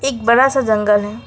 एक बड़ा सा जंगल है।